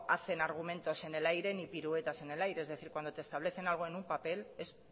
hacen argumentos en el aire ni piruetas en el aire es decir cuando te establecen algo en un papel es